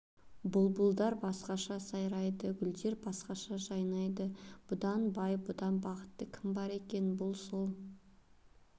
бұлбұлдар басқаша сайрайды гүлдер басқаша жайнайды бұдан бай бұдан бақытты кім бар екен бұл сол